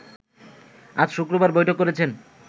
আজ শুক্রবার বৈঠক করেছেন